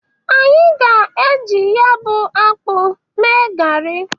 Anyị ga-e jị ya bụ akpụ mee gari.